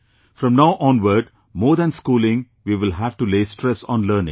From now onward, more than schooling, we will have to lay stress on learning